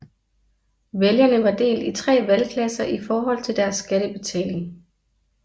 Vælgerne var delt i 3 valgklasser i forhold til deres skattebetaling